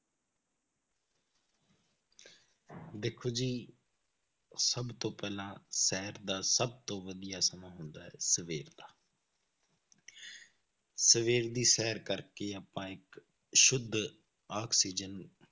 ਦੇਖੋ ਜੀ ਸਭ ਤੋਂ ਪਹਿਲਾਂ ਸ਼ੈਰ ਦਾ ਸਭ ਤੋਂ ਵਧੀਆ ਸਮਾਂ ਹੁੰਦਾ ਹੈ ਸਵੇਰ ਦਾ ਸਵੇਰ ਦੀ ਸ਼ੈਰ ਕਰਕੇ ਆਪਾਂ ਇੱਕ ਸੁੱਧ ਆਕਸੀਜਨ